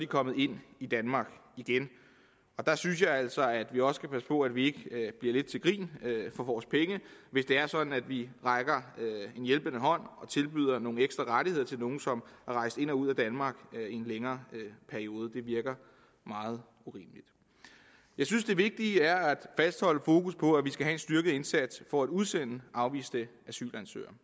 kommet ind i danmark der synes jeg altså at vi også skal passe på at vi ikke bliver lidt til grin for vores penge hvis det er sådan at vi rækker en hjælpende hånd og tilbyder nogle ekstra rettigheder til nogle som er rejst ind og ud af danmark gennem en længere periode det virker meget urimeligt jeg synes det vigtige er at fastholde fokus på at vi skal have en styrket indsats for at udsende afviste asylansøgere